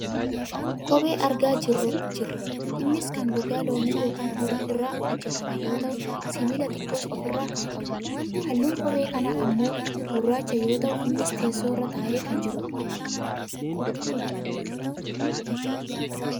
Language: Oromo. kophee argaa jirra. innis kan gogaa loonii yookaan horii irraa hojjatame yoo ta'u sibiila xiqqoos of irraa kan qabudha. halluun kophee kanaa ammoo gurraacha yoo ta'u innis teessoo irra taa'ee kan jirudha.